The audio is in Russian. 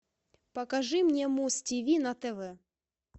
покажи мне муз тв на тв